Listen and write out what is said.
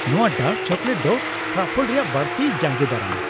ᱱᱚᱶᱟ dark chocolate ᱫᱚ truffle ᱨᱮᱭᱟᱜ ᱵᱟᱹᱲᱛᱤᱭ ᱡᱟᱸᱜᱮᱫᱟᱨᱟᱢᱟ ᱾